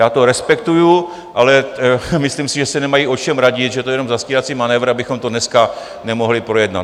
Já to respektuju, ale myslím si, že se nemají o čem radit, že to je jen zastírací manévr, abychom to dneska nemohli projednat.